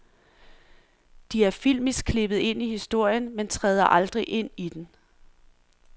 De er filmisk klippet ind i historien, men træder aldrig ind i den.